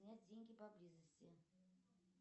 снять деньги поблизости